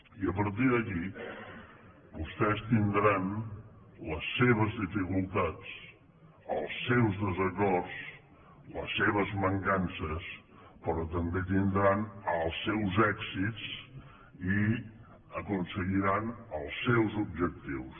i a partir d’aquí vostès tindran les seves dificultats els seus desacords les seves mancances però també tindran els seus èxits i aconseguiran els seus objectius